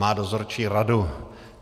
Má dozorčí radu.